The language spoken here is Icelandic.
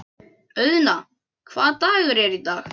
Auðna, hvaða dagur er í dag?